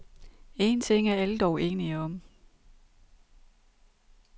En ting er alle dog enige om.